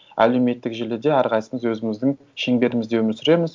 әлеуметтік желіде әрқайсымыз өзіміздің шеңберімізде өмір сүреміз